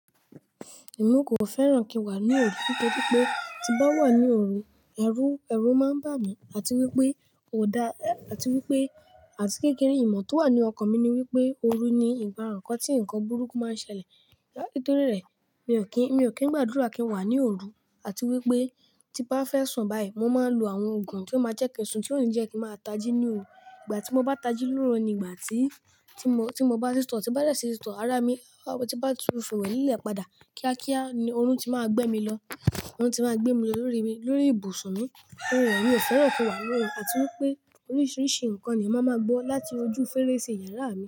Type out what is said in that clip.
Èmi kò fẹ́ràn kí n wà ní òru nítorí pé tí bá wà ní òru, ẹ̀rù, ẹ̀rù máa ń bà mí àti wípé kò dá àti wípé àti kékeré ìmọ̀ tó wà ní ọkàn mi ni wípé òru ni ìgbakan tí nǹkan burúkú máa ń ṣẹlẹ̀. Nítorí rẹ̀ mi ò kín, mi ò kín gbàdúrà kí n wà ní òru àti wípé tí bá fẹ́ sùn báyìí mo máa ń lo àwọn òògùn tí ó máa jẹ́ kí n sùn tí ó lè jẹ́ kí n máa tají ní òru. Ìgbà tí mo bá tají lóru ni ìgbà tí, tí mo, tí mo bá sì tọ̀, tí bá dẹ́ẹ̀ ṣì tọ̀ ara mi, tí bá tún fò wẹ lílẹ̀ padà kíákíá òrun ti máa gbẹ́ mi lọ. Òru ti máa gbé mi lọ lórí mi, lórí ibùsùn mi. Òòrùn mi ò fẹ́ràn kí n wà ní òru àti wípé oríṣìíríṣìí ǹkan ni ọmọ máa gbọ́ láti ojú fèrèsé yàrá mi.